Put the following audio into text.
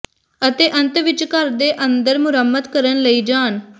ਅਤੇ ਅੰਤ ਵਿੱਚ ਘਰ ਦੇ ਅੰਦਰ ਮੁਰੰਮਤ ਕਰਨ ਲਈ ਜਾਣ